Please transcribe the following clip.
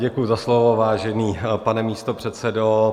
Děkuji za slovo, vážený pane místopředsedo.